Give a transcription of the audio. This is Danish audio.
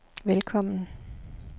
velkommen